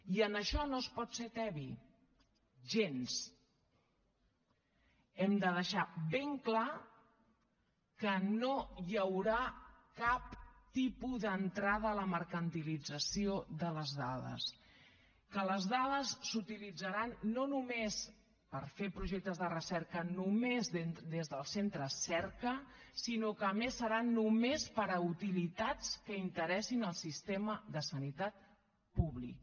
i en això no és pot ser tebi gens hem de deixar ben clar que no hi haurà cap tipus d’entrada a la mercantilització de les dades que les dades s’utilitzaran no només per fer projectes de recerca només des dels centres cerca sinó que a més seran només per a utilitats que interessin al sistema de sanitat públic